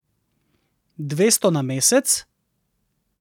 Dvesto na mesec?